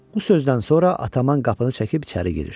Bu sözdən sonra Ataman qapını çəkib içəri girir.